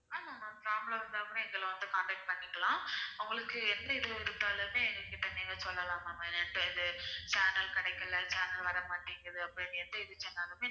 ஆமா ma'am problem வந்தா கூட எங்களை வந்து contact பண்ணிக்கலாம் உங்களுக்கு எப்படி இது இருந்தாலுமே எங்ககிட்ட நீங்க சொல்லலாம் ma'am இப்போ இது channel கிடைக்கல channel வரமாட்டேங்குது அப்படின்னு எந்த இது சொன்னாலுமே